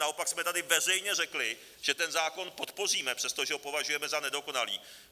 Naopak jsme tady veřejně řekli, že ten zákon podpoříme, přestože ho považujeme za nedokonalý.